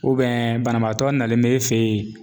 banabaatɔ nalen bɛ e fɛ yen.